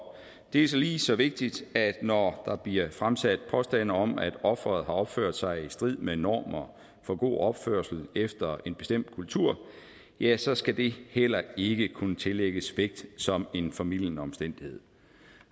det er lige så vigtigt at når der bliver fremsat påstande om at offeret har opført sig i strid med normer for god opførsel efter en bestemt kultur ja så skal det heller ikke kunne tillægges vægt som en formildende omstændighed